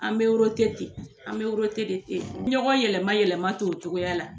An bɛ ten an bɛ de ten ɲɔgɔn yɛlɛma yɛlɛma ten o cogoya la